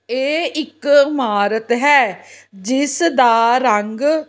ਇਹ ਇੱਕ ਇਮਾਰਤ ਹੈ ਜਿਸ ਦਾ ਰੰਗ --